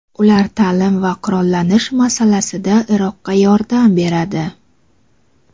Ular ta’lim va qurollanish masalasida Iroqqa yordam beradi.